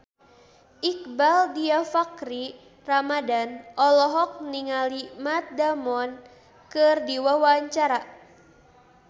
Iqbaal Dhiafakhri Ramadhan olohok ningali Matt Damon keur diwawancara